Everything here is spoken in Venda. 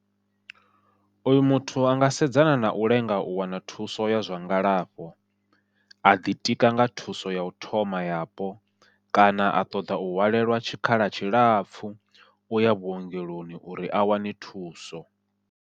Oyu muthu a nga sedzana nau lenga u wana thuso ya zwa ngalafho, a ḓitika nga thuso yau thoma yapo kana a ṱoḓa u hwalelwa tshikhala tshilapfhu uya vhuongeloni uri a wane thuso.